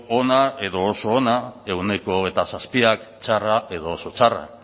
ona edo oso ona ehuneko hogeita zazpik txarra edo oso txarra